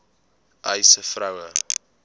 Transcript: uys sê vroue